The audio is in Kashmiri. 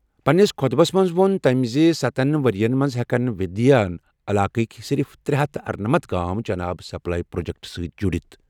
پنٛنِس خطبس منٛز ووٚن تٔمۍ زِ سَتتَھ ؤرۍ یَن منٛز ہٮ۪کَو وِندھیا علاقٕکۍ صرف ترے ہتھ اَرنَمتھ گام چنہٕ آب سپلائی پروجیکٹَن سۭتۍ جُڑِتھ۔